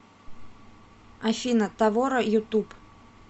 афина тавора ютуб